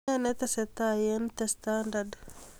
Nee netestai eng 'the standard'